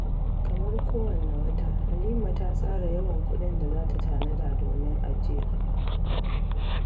Kamar kowanne wata, Halima ta tsara yawan kuɗin da za ta tanada domin ajiya.